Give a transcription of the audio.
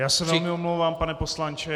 Já se velmi omlouvám, pane poslanče.